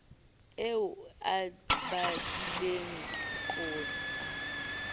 eo o e badileng qotsa